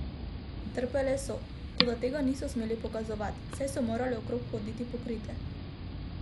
Trpele so, toda tega niso smele pokazati, saj so morale okrog hoditi pokrite.